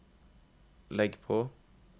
legg på